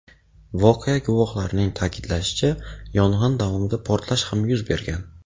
Voqea guvohlarining ta’kidlashicha, yong‘in davomida portlash ham yuz bergan.